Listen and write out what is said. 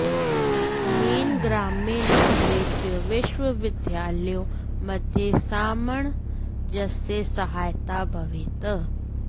अनेन ग्राम्ये नागरे च विश्वविद्यालययोः मध्ये सामञ्जस्ये सहायता भवेत्